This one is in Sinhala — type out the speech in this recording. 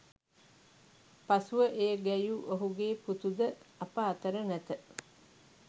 පසුව එය ගැයූ ඔහුගේ පුතු ද අප අතර නැත